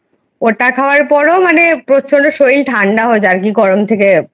ওটা খাওয়ার পরেও মানে প্রচন্ড শরীর ঠাণ্ডা হয়ে গিয়েছিলো যায় মানে গরম থেকে